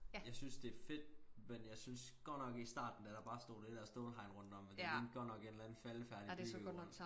Jeg synes det fedt men jeg synes godt nok i starten da der bare stod det der stålhegn rundt om at det lignede godt nok et eller andet faldefærdigt byggerod